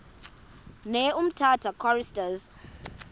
ne umtata choristers